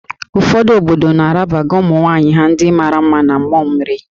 Ụfọdụ obodo na-arabaga ụmụ nwaanyị ha ndị mara mma na mmụọ mmiri